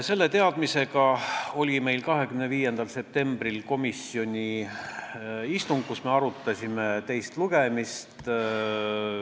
Selle teadmisega oli meil 24. septembril komisjoni istung, kus me arutasime eelnõu enne teist lugemist.